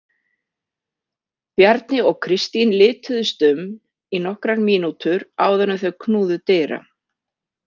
Bjarni og Kristín lituðust um í nokkrar mínútur áður en þau knúðu dyra.